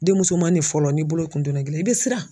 Denmusomani fɔlɔ n'i bolo kun donna ji la i bɛ siran.